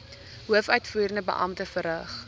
hoofuitvoerende beampte verrig